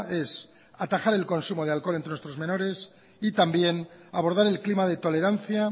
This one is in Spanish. es atajar el consumo del alcohol entre nuestros menores y también abordar el clima de tolerancia